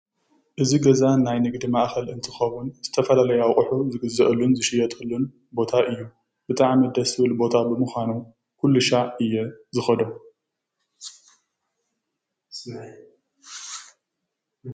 እዚ ገዛ ናይ ንግዲ ማእኸል እንትኸው ዝተፈላለዩ ኣቕሑ ዝግዘአሉን ዝሽየጠሉን ቦታ እዩ፡፡ ብጣዕሚ ደስ ዝብል ብምኳኑ ኩሉ ሻዕ እየ ዝኸዶ፡፡